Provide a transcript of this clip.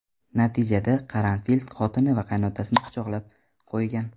Natijada Qaranfil xotini va qaynotasini pichoqlab qo‘ygan.